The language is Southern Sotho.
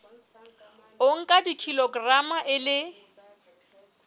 o nka kilograma e le